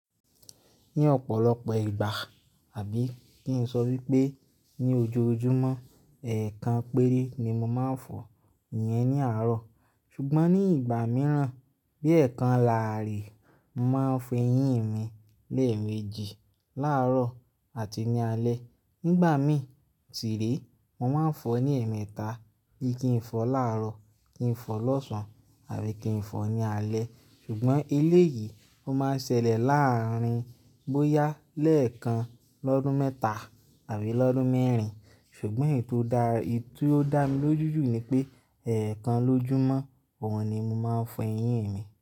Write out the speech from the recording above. Ní ọ̀pọ̀lọpọ̀ ìgbà àbí kí n sọ wípé ní ojoojúmọ́, ẹ̀ẹ̀kan péré ni mo máa ń fọ eyín ní àárọ̀. Ṣùgbọ́n ní ìgbà mìíràn bí ẹẹ́kan làárì, màá fọ eyín mi lẹ́ẹ̀mejì láàárọ̀ àti ní alẹ́. Nígbà mí si re, mo máa ń fọ ní ẹ̀ẹ̀mẹta bí i kí n fọ láàárọ̀, kí n fọ lọ́sàn-án àbí kí n fọ ní alẹ́. Ṣùgbọ́n eléyìí ó máa ń ṣẹlẹ̀ láàárín bóyá lẹ́ẹ̀kan lọ́dún mẹ́ta àbí lọ́dún mẹ́rin. Ṣùgbọ́n èyí tó dá mi lójú jù ni pé ẹ̀ẹ̀kan lójúmọ́, òun ni mo máa ń fọ eyín mi.